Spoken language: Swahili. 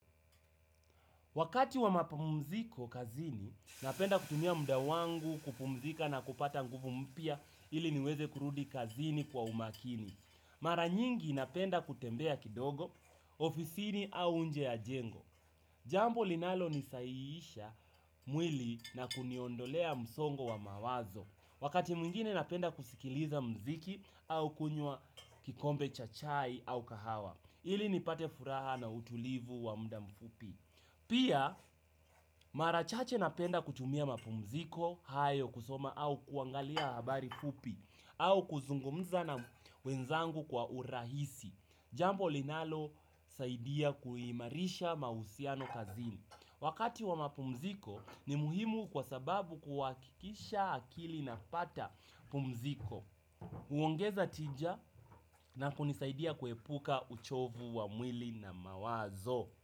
Wakati wa mapamziko kazini, napenda kutumia muda wangu kupumzika na kupata nguvu mpya ili niweze kurudi kazini kwa umakini. Mara nyingi napenda kutembea kidogo, ofisini au nje ya jengo. Jambo linalo nisaiisha mwili na kuniondolea msongo wa mawazo. Wakati mwingine napenda kusikiliza mziki au kunywa kikombe cha chai au kahawa ili nipate furaha na utulivu wa muda mfupi. Pia marachache napenda kutumia mapumziko hayo kusoma au kuangalia habari fupi au kuzungumza na wenzangu kwa urahisi. Jambo linalo saidia kuimarisha mahusiano kazini. Wakati wa mapumziko ni muhimu kwa sababu kuwakikisha akili inapata pumziko. Huongeza tija na kunisaidia kuepuka uchovu wa mwili na mawazo.